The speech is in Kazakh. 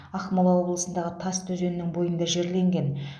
ақмола облысындағы тасты өзенінің бойында жерленген